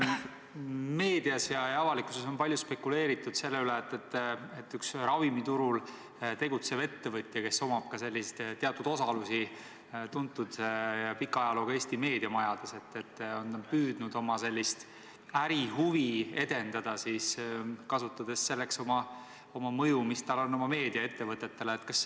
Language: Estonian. Meedias ja avalikkuses on palju spekuleeritud selle üle, et üks ravimiturul tegutsev ettevõtja, kes omab ka teatud osalusi tuntud ja pika ajalooga Eesti meediamajades, on püüdnud oma ärihuvi edendada, kasutades selleks oma mõju, mis tal on oma meediaettevõtetele.